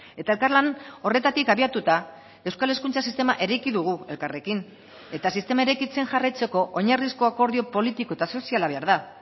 eta elkarlan horretatik abiatuta euskal hezkuntza sistema eraiki dugu elkarrekin eta sistema eraikitzen jarraitzeko oinarrizko akordio politiko eta soziala behar da